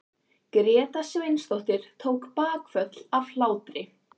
Gréta Sveinsdóttir tók bakföll af hlátri.